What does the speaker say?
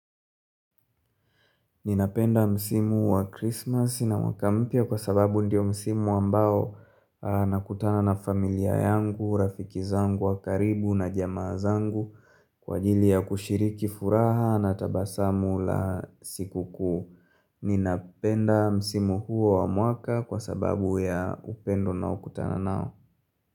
Ninapenda msimu wa Christmas na mwaka mpya kwa sababu ndiyo msimu ambao nakutana na familia yangu, rafiki zangu, wa karibu na jamaa zangu kwa ajili ya kushiriki furaha na tabasamu la siku kuu. Ninapenda msimu huo wa mwaka kwa sababu ya upendo naokutana nao.